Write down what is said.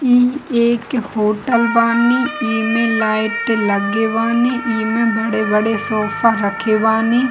इ एक होटल बानी इमे लाईट लगेवानी इमे बड़े-बड़े सोफा रखेवानी।